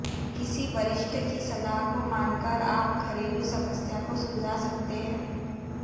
किसी वरिष्ठ की सलाह को मानकर आप घरेलू समस्या को सुलझा सकते हैं